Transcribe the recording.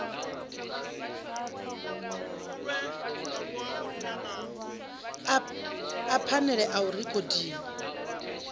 a phanele a a rekhodiwa